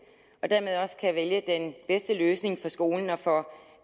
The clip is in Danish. og dermed også kan vælge den bedste løsning for skolen og for